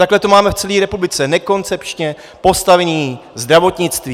Takhle to máme v celé republice - nekoncepčně postavené zdravotnictví.